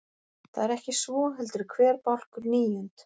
Það er ekki svo, heldur er hver bálkur níund.